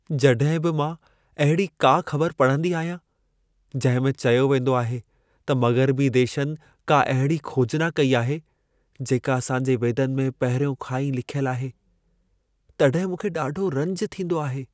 जॾहिं बि मां अहिड़ी का ख़बर पढ़ंदी आहियां, जंहिं में चयो वेंदो आहे, त मग़रबी देशनि का अहिड़ी खोजना कई आहे, जेका असां जे वेदनि में पहिरियों खां ई लिखियल आहे, तॾहिं मूंखे ॾाढो रंज थींदो आहे।